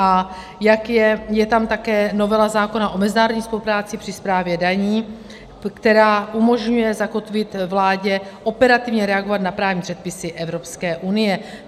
A je tam také novela zákona o mezinárodní spolupráci při správě daní, která umožňuje zakotvit vládě operativně reagovat na právní předpisy Evropské unie.